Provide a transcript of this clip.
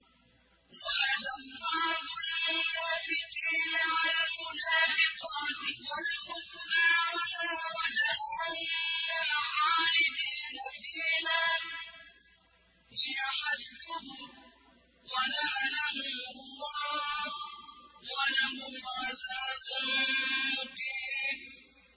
وَعَدَ اللَّهُ الْمُنَافِقِينَ وَالْمُنَافِقَاتِ وَالْكُفَّارَ نَارَ جَهَنَّمَ خَالِدِينَ فِيهَا ۚ هِيَ حَسْبُهُمْ ۚ وَلَعَنَهُمُ اللَّهُ ۖ وَلَهُمْ عَذَابٌ مُّقِيمٌ